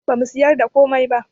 Bamu siyar da komai ba